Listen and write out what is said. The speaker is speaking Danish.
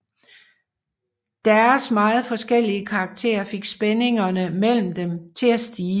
Deres meget forskellige karakter fik spændingerne mellem dem til at stige